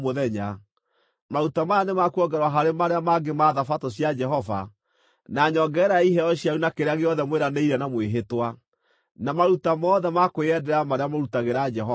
Maruta maya nĩ ma kuongererwo harĩ marĩa mangĩ ma Thabatũ cia Jehova na nyongerera ya iheo cianyu na kĩrĩa gĩothe mwĩranĩire na mwĩhĩtwa, na maruta mothe ma kwĩyendera marĩa mũrutagĩra Jehova.)